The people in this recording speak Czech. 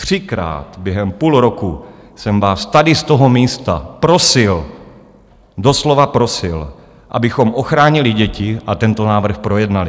Třikrát během půl roku jsem vás tady z toho místa prosil, doslova prosil, abychom ochránili děti a tento návrh projednali.